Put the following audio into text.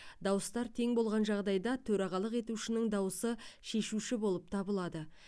дауыстар тең болған жағдайда төрағалық етушінің дауысы шешуші болып табылады